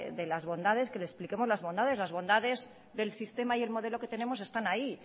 de las bondades que le expliquemos las bondades las bondades del sistema y el modelo que tenemos están ahí